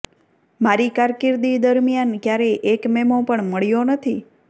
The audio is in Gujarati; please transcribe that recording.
મારી કારકિર્દી દરમિયાન કયારેય એક મેમો પણ મળ્યો નથી